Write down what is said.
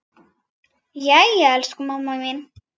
Jæja, elsku mamma mín.